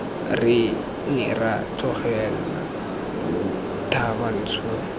re ne ra tlogela thabantsho